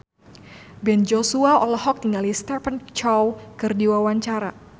Ben Joshua olohok ningali Stephen Chow keur diwawancara